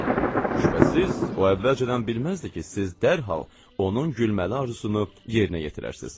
Şübhəsiz, o əvvəlcədən bilməzdi ki, siz dərhal onun gülməli arzusunu yerinə yetirərsiz.